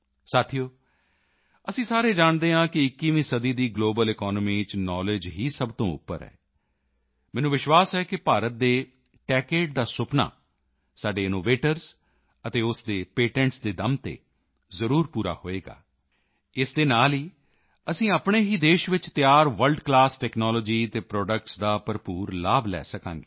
ਸਾਥੀਓ ਅਸੀਂ ਸਾਰੇ ਜਾਣਦੇ ਹਾਂ ਕਿ 21ਵੀਂ ਸਦੀ ਦੀ ਗਲੋਬਲ ਇਕਾਨਮੀ ਚ ਨਾਊਲੈੱਡਜ ਹੀ ਸਭ ਤੋਂ ਉੱਪਰ ਹੈ ਮੈਨੂੰ ਵਿਸ਼ਵਾਸ ਹੈ ਕਿ ਭਾਰਤ ਦੇ ਟੇਚਦੇ ਦਾ ਸੁਪਨਾ ਸਾਡੇ ਇਨੋਵੇਟਰਜ਼ ਅਤੇ ਉਸ ਦੇ ਪੇਟੈਂਟਸ ਦੇ ਦਮ ਤੇ ਜ਼ਰੂਰ ਪੂਰਾ ਹੋਵੇਗਾ ਇਸ ਦੇ ਨਾਲ ਅਸੀਂ ਆਪਣੇ ਹੀ ਦੇਸ਼ ਚ ਤਿਆਰ ਵਰਲਡ ਕਲਾਸ ਟੈਕਨਾਲੋਜੀ ਅਤੇ ਪ੍ਰੋਡੱਕਟਸ ਦਾ ਭਰਪੂਰ ਲਾਭ ਲੈ ਸਕਾਂਗੇ